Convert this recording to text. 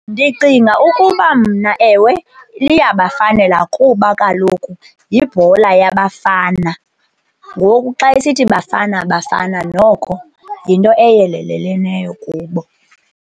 Ndicinga ukuba mna ewe, liyabafanela kuba kaloku yibhola yabafana. Ngoku xa isithi Bafana Bafana noko yinto eyeleleleneyo kubo.